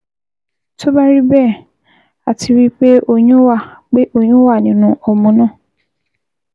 Tó bá rí bẹ́ẹ̀, a ti rí i pé oyún wà pé oyún wà nínú ọmọ náà